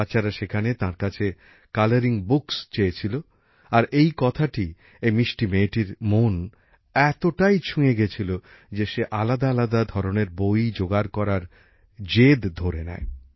বাচ্চারা সেখানে তাঁর কাছে কালারিং বুকস চেয়েছিল আর এই কথাটা এই মিষ্টি মেয়েটির মন এতটাই ছুঁয়ে গেছিল যে সে আলাদা আলাদা ধরনের বই জোগাড় করার জেদ ধরে নেয়